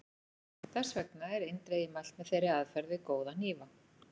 Þess vegna er eindregið mælt með þeirri aðferð við góða hnífa.